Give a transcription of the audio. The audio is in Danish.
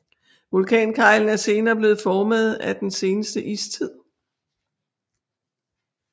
Vulkankeglen er senere blevet formet af den seneste istid